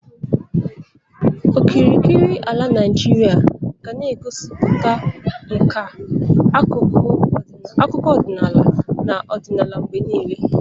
Okirikiri ala Naijiria ga na-egosipụta nka, akụkọ ọdịnala, na ọdịnala mgbe niile.